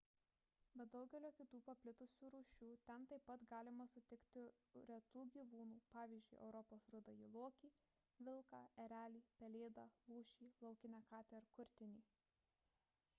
be daugelio kitų paplitusių rūšių ten taip pat galima sutikti retų gyvūnų pavyzdžiui europos rudąjį lokį vilką erelį pelėdą lūšį laukinę katę ir kurtinį